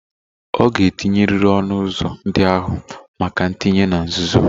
Ọ ga-etinyerịrị ọnụ ụzọ ndị ahụ maka ntinye na nzuzo.